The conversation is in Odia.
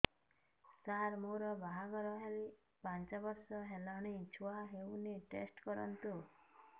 ସାର ମୋର ବାହାଘର ହେଇ ପାଞ୍ଚ ବର୍ଷ ହେଲାନି ଛୁଆ ହେଇନି ଟେଷ୍ଟ କରନ୍ତୁ